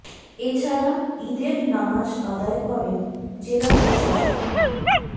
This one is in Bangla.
এ ছাড়া ঈদের নামাজ আদায় করেন জেলা প্রশাসক মো